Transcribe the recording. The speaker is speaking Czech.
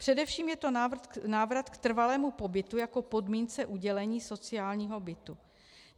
Především je to návrat k trvalému pobytu jako podmínce udělení sociálního bytu.